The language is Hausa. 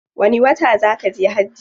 Wani wata zaa kaje hajji?